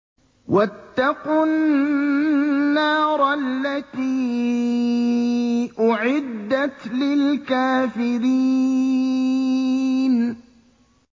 وَاتَّقُوا النَّارَ الَّتِي أُعِدَّتْ لِلْكَافِرِينَ